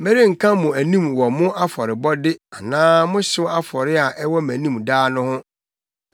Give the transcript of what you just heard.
Merenka mo anim wɔ mo afɔrebɔde anaa mo hyew afɔre a ɛwɔ mʼanim daa no ho.